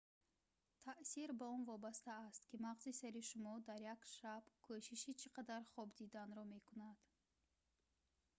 таъсир ба он вобаста аст ки мағзи сари шумо дар як шаб кӯшиши чи қадар хоб диданро мекунадд